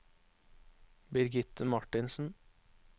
Birgitte Martinsen